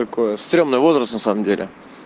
какое стремный возраст на самом деле